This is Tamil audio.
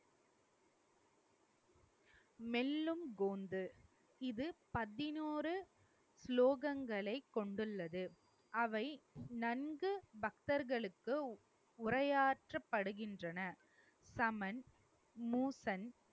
மெல்லும் இது பதினோரு சுலோகங்களை கொண்டுள்ளது, அவை நன்கு பக்தர்களுக்கு உரையாற்றப்படுகின்றன தமன் மூசன்